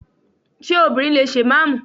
Ṣé obìnrin lè ṣe ìmáàmù?